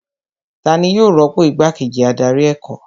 Tani yóò rọ́pò igbá kejì adarí ẹ̀kọ́